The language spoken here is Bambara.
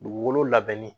Dugukolo labɛnni